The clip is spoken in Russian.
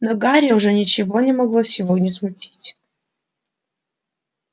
но гарри уже ничего не могло сегодня смутить